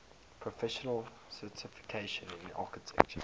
professional certification in architecture